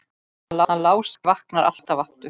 Hann Lási vaknar alltaf aftur.